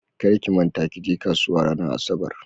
Kar ki manta kije kasuwa ranar asabar.